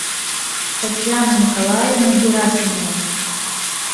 татьяна николаевна герасимова